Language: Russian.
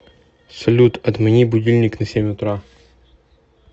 салют отмени будильник на семь утра